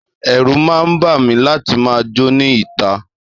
Èrù ma bami láti ma jó ni ta